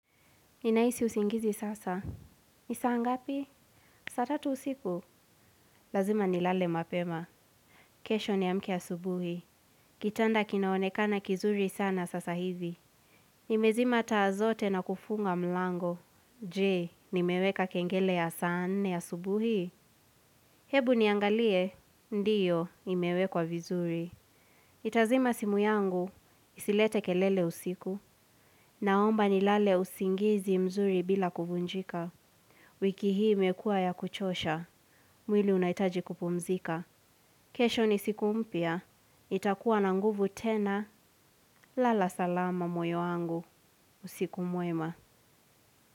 Ninahisi usingizi sasa. Ni saa ngapi, saa tatu usiku. Lazima nilale mapema. Kesho niamke asubuhi. Kitanda kinaonekana kizuri sana sasa hivi. Nimezima taa zote na kufunga mlango. Je, nimeweka kengele ya saa nne asubuhi. Hebu niangalie, ndiyo, imewekwa vizuri. Itazima simu yangu. Isilete kelele usiku. Naomba nilale usingizi mzuri bila kuvunjika. Wiki hii imekuwa ya kuchosha, mwili unaitaji kupumzika. Kesho ni siku mpya nitakuwa na nguvu tena lala salama moyo wangu usiku mwema.